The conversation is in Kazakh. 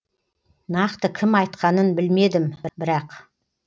нақты кім айтқанын білмедім бірақ